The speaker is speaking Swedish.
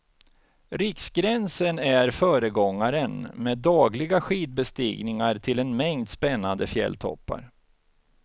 Riksgränsen är föregångaren, med dagliga skidbestigningar till en mängd spännande fjälltoppar.